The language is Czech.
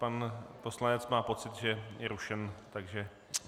Pan poslanec má pocit, že je rušen, takže...